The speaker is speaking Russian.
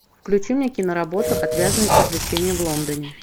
включи мне киноработу отвязные приключения в лондоне